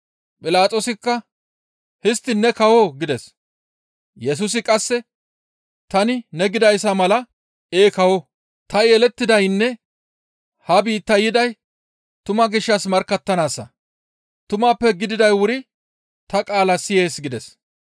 Philaxoosikka, «Histtiin ne kawoo?» gides; Yesusi qasse, «Tani ne gidayssa mala ee kawo; ta yelettidaynne ha biittaa yiday tumaa gishshas markkattanaassa; tumappe gididay wuri ta qaala siyees» gides.